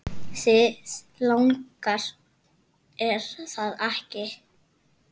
Þig langar, er það ekki?